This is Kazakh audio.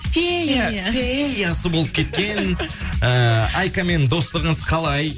фея феясы болып кеткен ыыы айкамен достығыңыз қалай